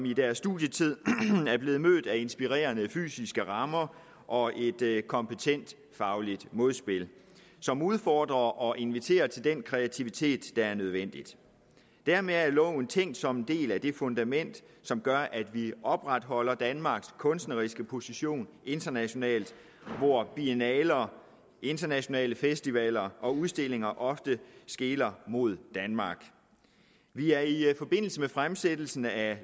i deres studietid er blevet mødt af inspirerende fysiske rammer og et kompetent fagligt modspil som udfordrer og inviterer til den kreativitet der er nødvendig dermed er loven tænkt som en del af det fundament som gør at vi opretholder danmarks kunstneriske position internationalt hvor biennaler internationale festivaler og udstillinger ofte skeler mod danmark vi er i forbindelse med fremsættelsen af